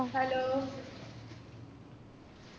hello